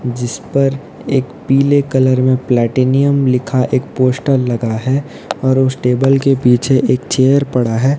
जिस पर एक पीले कलर में प्लेटिनम लिखा एक पोस्टर लगा है और उस टेबल के पीछे एक चेयर पड़ा है।